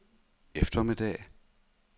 eftermiddag